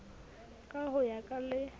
ka ho ya ka le